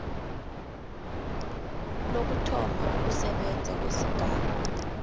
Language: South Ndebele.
lokuthoma ukusebenza kwesigaba